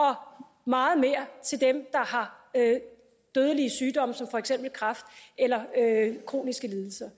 meget mere til dem der har dødelige sygdomme som for eksempel kræft eller kroniske lidelser